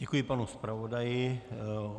Děkuji panu zpravodaji.